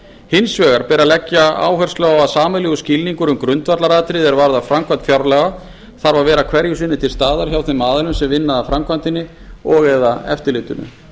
hins vegar ber að leggja áherslu á að sameiginlegur skilningur um grundvallaratriði er varðar framkvæmd fjárlaga þarf að vera hverju sinni til staðar hjá þeim aðilum sem vinna að framkvæmdinni og eða eftirlitinu